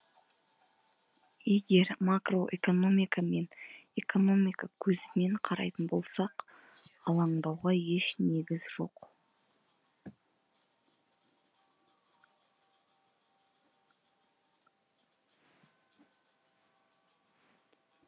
егер макроэкономика мен экономика көзімен қарайтын болсақ алаңдауға еш негіз жоқ